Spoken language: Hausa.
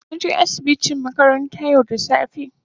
na je asibiti makaranta yau da safe.